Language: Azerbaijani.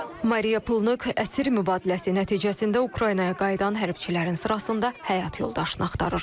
Mariya Pulnuk əsir mübadiləsi nəticəsində Ukraynaya qayıdan hərbçilərin sırasında həyat yoldaşını axtarır.